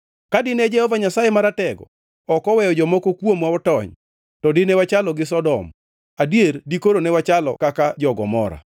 Ka dine Jehova Nyasaye Maratego ok oweyo jomoko kuomwa otony, to dine wachalo gi jo-Sodom, adier dikoro ne wachalo kaka jo-Gomora.